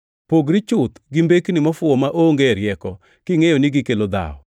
Pogri chuth gi mbekni mofuwo maonge rieko, kingʼeyo ni gikelo dhawo.